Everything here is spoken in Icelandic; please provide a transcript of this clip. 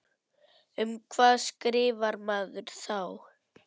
Um hvað skrifar maður þá?